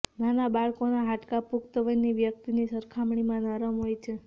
નાના બાળકોના હાડકાં પુખ્તવયની વ્યક્તિની સરખામણીમાં નરમ હોય છે